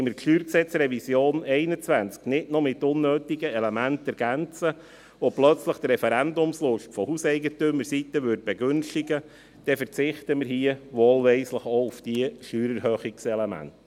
Wenn wir die StG-Revision 21 nicht noch mit unnötigen Elementen ergänzen und plötzlich die Referendumslust der Hauseigentümerseite begünstigen wollen, verzichten wir wohlweislich auch auf diese Steuererhöhungselemente.